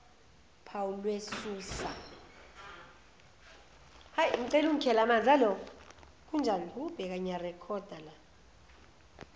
phawu lwe susa